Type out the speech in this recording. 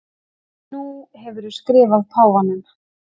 Nú hefurðu skrifað páfanum.